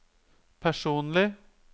personlig